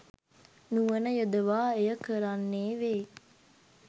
නුවණ යොදවා එය කරන්නේ වෙයි